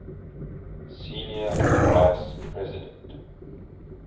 senior vice president